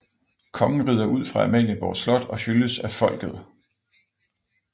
Kongen rider ud fra Amalienborg Slot og hyldes af folket